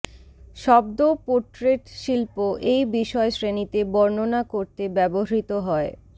শব্দ পোর্ট্রেট শিল্প এই বিষয়শ্রেণীতে বর্ণনা করতে ব্যবহৃত হয়